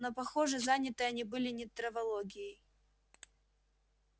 но похоже заняты они были не травологией